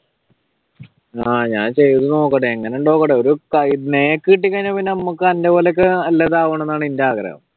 ആഹ് ഞാൻ ചെയ്തുനോക്കട്ടെ എങ്ങാനുണ്ടെന്ന് നോക്കട്ടെ ഒരു നെക്ക് കിട്ടിക്കഴിഞ്ഞാൽ നമക്ക് അന്റെ പോലെയൊക്കെ നല്ലതാവണം എന്നാണെന്റെ ആഗ്രഹം